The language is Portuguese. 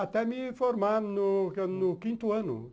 Até me formar no no quinto ano.